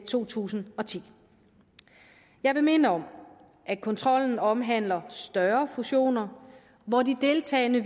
to tusind og ti jeg vil minde om at kontrollen omhandler større fusioner hvor de deltagende